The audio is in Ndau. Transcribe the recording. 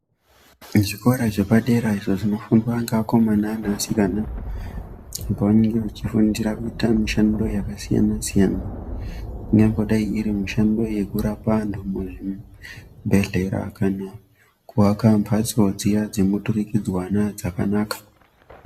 Zvikora zvepadera izvo zvinofundwa ngevakomana nevasikana apo vanenge vachifundira kuita mushando yakasiyana siyana ingangodai iri mushando yekurape antu muzvibhedhlera kana kuaka mhatso dziya dzemuturikidzwana dzakanaka.